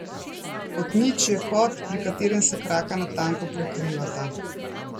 Kot nič je kot, pri katerem se kraka natanko prekrivata.